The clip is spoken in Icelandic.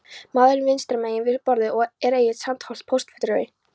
Maðurinn vinstra megin við borðið er Egill Sandholt, póstfulltrúi.